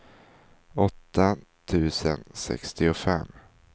åtta tusen sextiofem